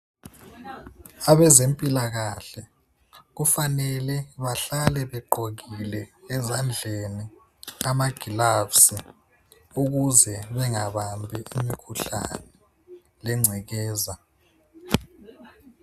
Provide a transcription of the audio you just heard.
Abezempilakahla kufanele bahlale begqokile ezandleni amagilavsi ukuze bengabambi imikhuhlane lengcekeza.